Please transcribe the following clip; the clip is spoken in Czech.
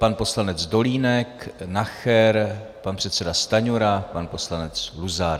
Pan poslanec Dolínek, Nacher, pan předseda Stanjura, pan poslanec Luzar.